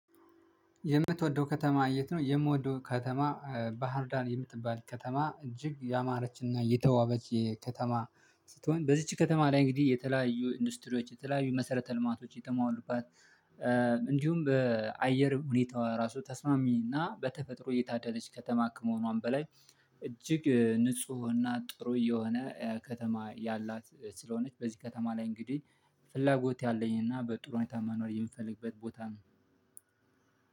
የምትወደው ከተማ የት ነው? የምወደው ከተማ ባህርዳር የምትባል ከተማ እጅግ ያማረችና የተዋበች ከተማ ስትሆን በዚች ከተማ ላይ እንግዲህ የተለያዩ ኢንዱስትሪዎች የተለያዩ መሰረተ ልማቶች የተሟሉባት። እንዲሁም በአየር ሁኔታ ራሱ ተስማሚ እና በተፈጥሮ የታደለች ከተማ ከመሆኗም በላይ። እጅግ ንፁህና ጥሩ የሆነ ከተማ ያላት ስለሆነች በዚህ ከተማ ላይ እንግዲህ ፍላጎት ያለኝና በጥሩ ሁኔታ ማኖር የምፈልግበት ቦታ ነው።